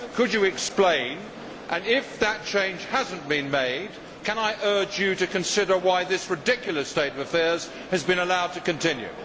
Could you explain and, if that change has not been made, can I urge you to consider why this ridiculous state of affairs has been allowed to continue?